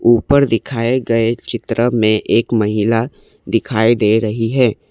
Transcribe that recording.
ऊपर दिखाए गए चित्र में एक महिला दिखाई दे रही है।